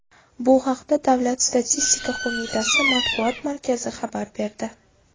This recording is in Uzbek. Bu haqda Davlat statistika qo‘mitasi matbuot markazi xabar berdi .